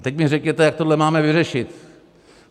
A teď mi řekněte, jak tohle máme vyřešit.